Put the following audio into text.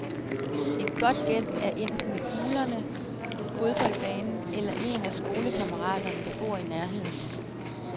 Et godt gæt er enten hulerne, fodboldbanen eller en af skolekammeraterne, der bor i nærheden.